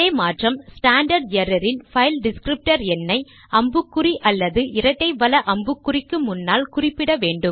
standard error இன் file descriptor எண்ணை அம்புக்குறி அல்லது இரட்டை வல அம்புக்குறி க்கு முன்னால் குறிப்பிட வேண்டும்